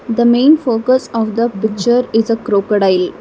the main focus of the picture is a crocodile.